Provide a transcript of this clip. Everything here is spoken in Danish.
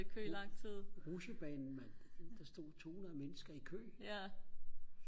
Rutsjebanen mand der stod tohundrede mennesker i kø